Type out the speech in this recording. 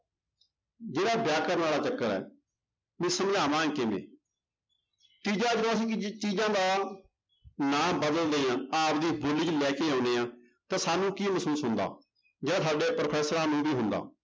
ਜਿਹੜਾ ਵਿਆਕਰਨ ਵਾਲਾ ਚੱਕਰ ਹੈ ਵੀ ਸਮਝਾਵਾਂਗੇ ਕਿਵੇਂ ਤੀਜਾ ਜਦੋਂ ਅਸੀਂ ਕਿਸੇ ਚੀਜ਼ਾਂ ਦਾ ਨਾਂ ਬਦਲਦੇ ਹਾਂ ਆਪਦੀ ਬੋਲੀ ਚ ਲੈ ਕੇ ਆਉਂਦੇ ਹਾਂ ਤਾਂ ਸਾਨੂੰ ਕੀ ਮਹਿਸੂਸ ਹੁੰਦਾ ਜਾਂ ਸਾਡੇ ਪ੍ਰੋਫ਼ੈਸ਼ਰਾਂ ਨੂੰ ਵੀ ਹੁੰਦਾ।